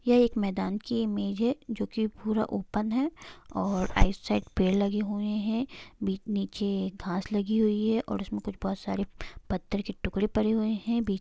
यह एक मैदान की इमेज है जो कि पूरा ओपन है और आइट साइड पेड़ लगे हुए है बी नीचे घास लगी हुई है और उसमे कुछ बहुत सारे पत्थर के टुकड़े पड़े हुए है बी --